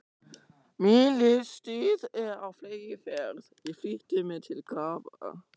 Mín lífstíð er á fleygiferð, ég flýti mér til grafar.